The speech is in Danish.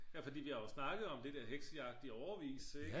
ja fordi vi har jo snakket om det der heksejagt i årevis ikke